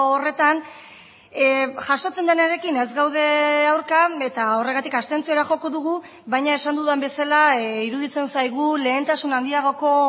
horretan jasotzen denarekin ez gaude aurka eta horregatik abstentziora joko dugu baina esan dudan bezala iruditzen zaigu lehentasun handiagoko